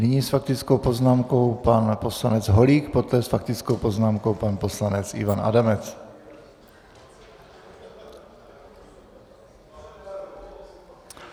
Nyní s faktickou poznámkou pan poslanec Holík, poté s faktickou poznámkou pan poslanec Ivan Adamec.